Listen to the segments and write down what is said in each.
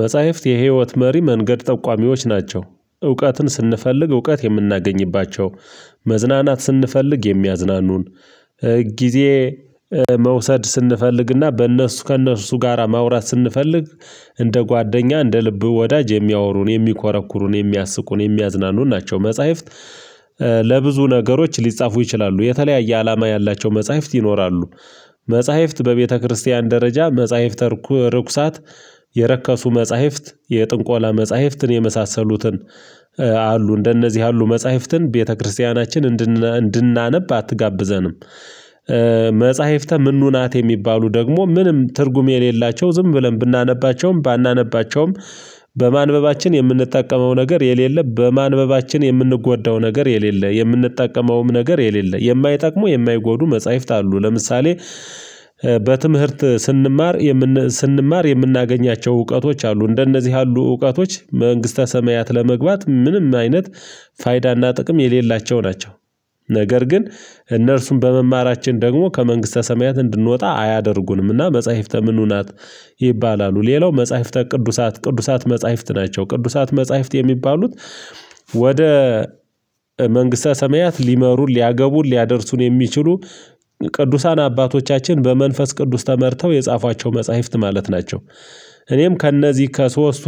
መጽሐፍት የህይወት መሪ መንገድ ጠቋሚዎች ናቸው እውቀትን ስንፈልግ እውቀት የምናገኝባቸው መዝናናት ስንፈልግ የሚያዝናኑን ጊዜ መውሰድ ስንፈልግና በእነሱ ከእነሱ ጋራ ማውራት ስንፈልግ እንደ ጓደኛ እንደ ልብ ወዳጅ የሚያወሩን የሚኮረኩሩን የሚያስቁን የሚያዝናኑን ናቸው። መጽሐፍት ለብዙ ነገሮች ሊጻፉ ይችላሉ የተለያየ አላማ ያላቸው መጽሐፍት ይኖራሉ። መጽሐፍት በቤተክርስቲያን ደረጃ መጽሐፍተ ርኩሳት የረከሱ መጽሐፍት የጥንቆላ መጽሐፍትን የመሳሰሉትን አሉ እንደነዚህ ያሉ መጽሐፍትን ቤተክርስቲያናችን እንድናነብ አትጋብዘንም። መጽሐፍተ ምኑ ናት የሚባሉ ደግሞ ምንም ትርጉም የሌላቸው ዝም ብለን ብናነባቸውም ባናነባቸውም በማንበባችን የምንጠቀመው ነገር የሌለም። በማንበባችን የምንጎዳው ነገር የሌለ የምንጠቀመውም ነገር የሌለ የማይጠቅሙ የማይጎዱ መጽሐፍት አሉ። ለምሳሌ በትምህርት ስንማር ስንማር የምናገኛቸው እውቀቶች አሉ እንደነዚህ ያሉ እውቀቶች መንግስተ ሰማያት ለመግባት ምንም አይነት ፋይዳና ጥቅም የሌላቸው ናቸው። ነገር ግን እነርሱም በመማራችን ደግሞ ከመንግስተ ሰማያት እንድንወጣ አያደርጉንምና። መጽሐፍተ ምኑ ናት ይባላሉ ሌላው መጽሐፍተ ቅዱሳት ቅዱሳት መጽሐፍት ናቸው። ቅዱሳት መጽሐፍት የሚባሉት ወደ መንግስተ ሰማያት ሊመሩ ሊያገቡ ሊያደርሱ የሚችሉ ቅዱሳን አባቶቻችን በመንፈስ ቅዱስ ተመርተው የጻፏቸው መጽሐፍት ማለት ናቸው። እኔም ከእነዚህ ከሶስቱ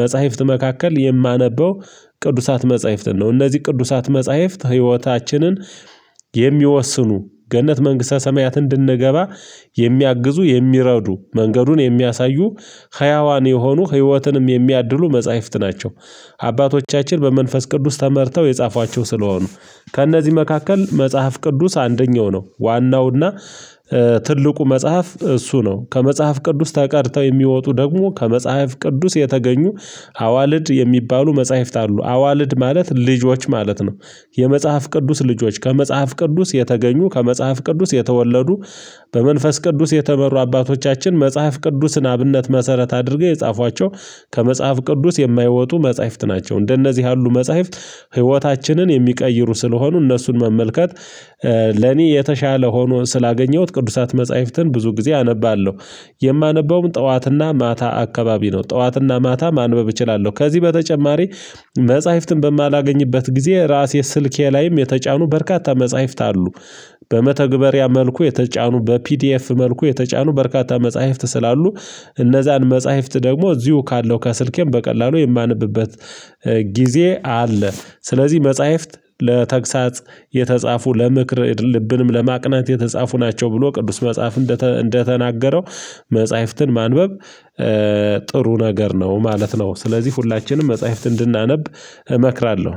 መጽሐፍት መካከል የማነበው ቅዱሳት መጽሐፍትን ነው። እነዚህ ቅዱሳት መጽሐፍት ህይወታችንን የሚወስኑ ገነት መንግስተ ሰማያት እንድንገባ የሚያግዙ የሚረዱ መንገዱን የሚያሳዩ ህያዋን የሆኑ ህይወትንም የሚያድሉ መጽሐፍት ናቸው። አባቶቻችን በመንፈስ ቅዱስ ተመርተው የጻፏቸው ስለሆኑ ከእነዚህ መካከል መጽሐፍ ቅዱስ አንደኛው ነው። ዋናውና ትልቁ መጽሐፍ እሱ ነው ከመጽሐፍ ቅዱስ ተቀድተው የሚወጡ ደግሞ ከመጽሐፍ ቅዱስ የተገኙ አዋልድ የሚባሉ መጽሐፍት አሉ። አዋልድ ማለት ልጆች ማለት ነው። የመጽሐፍ ቅዱስ ልጆች ከመጽሐፍ ቅዱስ የተገኙ ከመጽሐፍ ቅዱስ የተወለዱ። በመንፈስ ቅዱስ የተመሩ አባቶቻችን መጽሐፍ ቅዱስን አብነት መሰረት አድርገው የጻፏቸው ከመጽሐፍ ቅዱስ የማይወጡ መጽሐፍት ናቸው። እንደነዚህ ያሉ መጽሐፍት ህይወታችንን የሚቀይሩ ስለሆኑ እነሱን መመልከት ለኔ የተሻለ ሆኖ ስላገኘሁት ቅዱሳት መጽሐፍትን ብዙ ጊዜ አነባለሁ። የማነበውም ጠዋት እና ማታ አካባቢ ነው። ጠዋትና ማታ ማንበብ እችላለሁ። ከዚህ በተጨማሪ መጽሐፍትን በማላገኝበት ጊዜ ራሴ ስልኬ ላይም የተጫኑ በርካታ መጽሐፍት አሉ። በመተግበሪያ መልኩ የተጫኑ በፒዲኤፍ መልኩ የተጫኑ በርካታ መጽሐፍት ስላሉ። እነዛን መጽሐፍት ደግሞ እዚሁ ካለው ከስልኬም በቀላሉ የማነብበት ጊዜ አለ። ስለዚህ መጽሐፍት ለተግሳጽ የተጻፉ ለምክር ልብንም ለማቅናት የተጻፉ ናቸው። ብሎ ቅዱስ መጽሐፍ እንደተናገረው መጽሐፍትን ማንበብ ጥሩ ነገር ነው ማለት ነው። ስለዚህ ሁላችንም መጽሐፍት እንድናነብ እመክራለሁ።